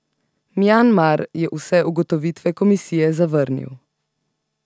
Mjanmar je vse ugotovitve komisije zavrnil.